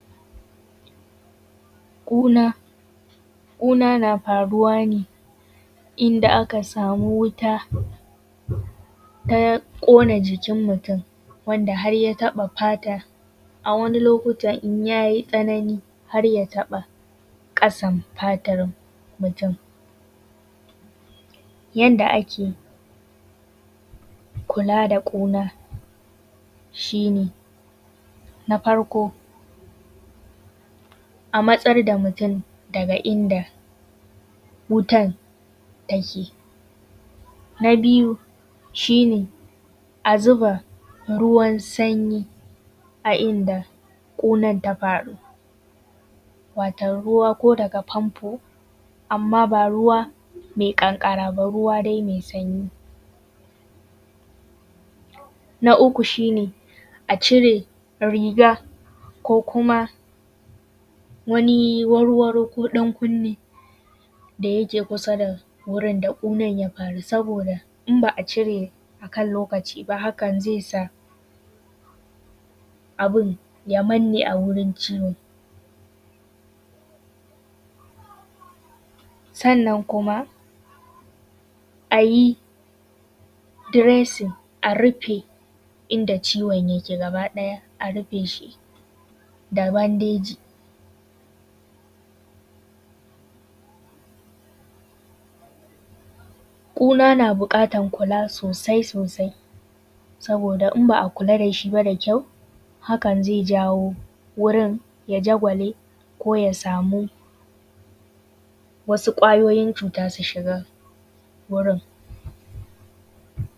Ƙuna ƙuna na faruwane inda aka samu wuta ta ƙona jikin mutum wanda har ya taɓa fata. A wani lokutan in ya yi tsanani har taba ƙasan fatan mutum. Yadda ake kula da ƙuna shine na farko a matsar da mutum daga inda wutan take, na biyu shine a zuba ruwan sanyi a inda kunan ta faru, wato ruwa ko daga famfo amman ba ruwa mai kankara ba. Ruwa dai mai sanyi. Na uku shine a cire riga ko kuma wani warwaro ko ɗankunni da yake kusa da wurin da ƙunan ya faru. Saboda in ba a cire a kan lokaci ba hakan zai sa abun ya manne a wurin ciwon. Sannan kuma a yi dressing a rufe inda ciwon yake gaba ɗaya a rufe shi da bandeji. Ƙuna na bukatan kula sosai sosai saboda in ba a kula dashi ba da kyau hakan zai jawoo wurin ya jagwale ko ya samu wasu ƙwayoyin cuta su shiga wurin.